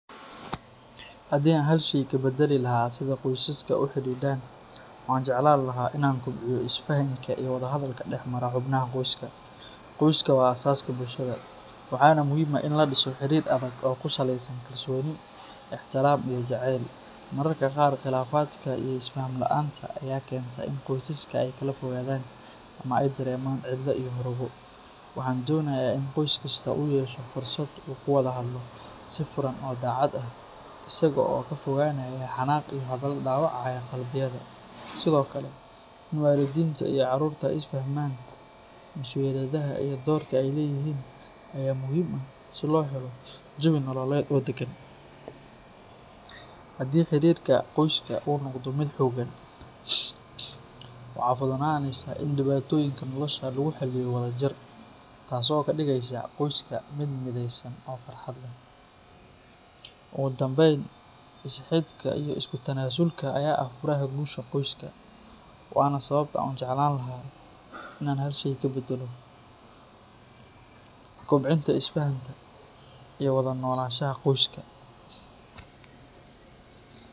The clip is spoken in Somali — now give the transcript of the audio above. Haddii aan hal shay ka badali lahaa sida qoysaska u xidhidhan, waxa aan jeclaan lahaa in aan kobciyo isfahanka iyo wada hadalka dhex mara xubnaha qoyska. Qoyska waa aasaaska bulshada, waxaana muhiim ah in la dhiso xiriir adag oo ku saleysan kalsooni, ixtiraam, iyo jacayl. Mararka qaar, khilaafaadka iyo isfaham la’aanta ayaa keenta in qoysaska ay kala fogaadaan ama ay dareemaan cidlo iyo murugo. Waxaan doonayaa in qoys kastaa uu yeesho fursad uu ku wada hadlo si furan oo daacad ah, isaga oo ka fogaanaya xanaaq iyo hadalo dhaawacaya qalbiyada. Sidoo kale, in waalidiinta iyo carruurta ay isla fahmaan mas’uuliyadaha iyo doorka ay leeyihiin ayaa muhiim ah si loo helo jawi nololeed oo deggan. Haddii xiriirka qoyska uu noqdo mid xoogan, waxaa fududaanaya in dhibaatooyinka nolosha lagu xalliyo wadajir, taasoo ka dhigaysa qoyska mid mideysan oo farxad leh. Ugu dambeyn, is-xidhka iyo isu-tanaasulka ayaa ah furaha guusha qoyska, waana sababta aan u jeclaan lahaa in aan hal shay ka badalo: kobcinta isfahanka iyo wada noolaanshaha qoyska.